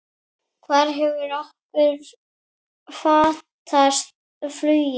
Hvar hefur okkur fatast flugið?